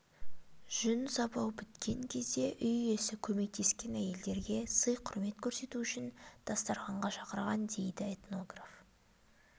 жүн сабау біткен кезде үй иесі көмектескен әйелдерге сый-құрметін көрсету үшін дастарханға шақырған дейді этнограф